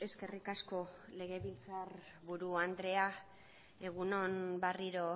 eskerrik asko legebiltzarburu andrea egun on berriro